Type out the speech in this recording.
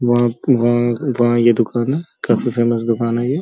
वहां वहां वहां ये दुकान है। काफी फेमस दुकान है ये।